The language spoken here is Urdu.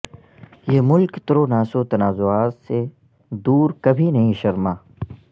یہ ملک ترو ناسو تنازعات سے دور کبھی نہیں شرما